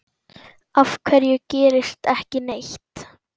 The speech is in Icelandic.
Af hverju gerist ekki neitt?